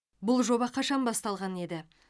бұл жоба қашан басталған еді